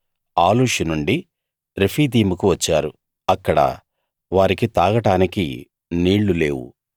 Alush నుండి రెఫీదీముకు వచ్చారు అక్కడ వారికి తాగడానికి నీళ్లు లేవు